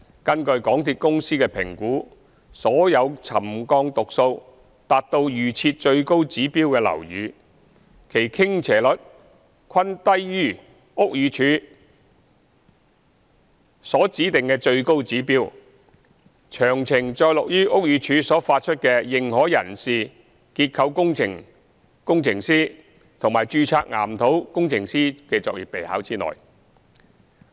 根據港鐵公司的評估，所有沉降讀數達到預設最高指標的樓宇，其傾斜率均低於屋宇署所指定的最高指標，詳情載錄於屋宇署所發出的《認可人士、註冊結構工程師及註冊岩土工程師作業備考》之內。